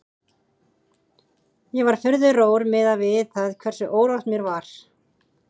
Ég var furðu rór miðað við það hversu órótt mér var.